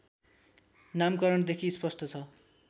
नामकरणदेखि स्पष्ट छ